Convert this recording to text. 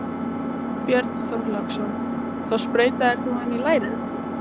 Björn Þorláksson: Þá sprautaðir þú hana í lærið?